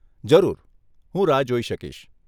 જરૂર, હું રાહ જોઈ શકીશ.